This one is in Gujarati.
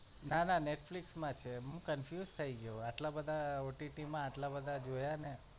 ના ના netflix માં છે હું confused થઇ ગયો આટલા બધાં OTT માં આટલા બધાં જોયા ને